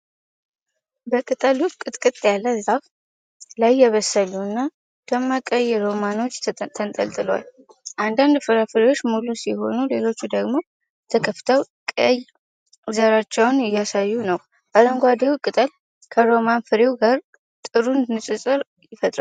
በቅጠሉ ጥቅጥቅ ያለ ዛፍ ላይ የበሰሉ እና ደማቅ ቀይ ሮማኖች ተንጠልጥለዋል። አንዳንድ ፍራፍሬዎች ሙሉ ሲሆኑ፣ ሌሎች ደግሞ ተከፍተው ቀይ ዘራቸውን እያሳዩ ነው። አረንጓዴው ቅጠል ከሮማን ፍሬው ጋር ጥሩ ንፅፅር ይፈጥራል።